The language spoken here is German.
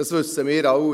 Das wissen wir alle.